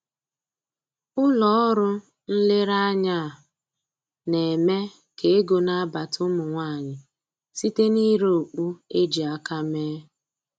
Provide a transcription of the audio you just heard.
Ụlọ ọrụ nlereanya a na-eme k'ego na-abata ụmụ nwanyị site na-ire okpu e ji aka mee